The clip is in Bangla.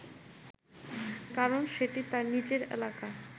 কারণ সেটি তার নিজের এলাকা